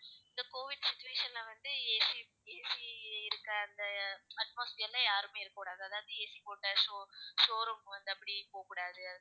இந்த covid situation ல வந்து, ACAC இருக்க அந்த atmosphere ல யாருமே இருக்கக் கூடாது. அதாவது AC போட்ட show~showroom வந்து, அப்படி போகக் கூடாது